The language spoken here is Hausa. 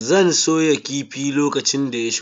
Zan soya kifi lokacin da ya shigo.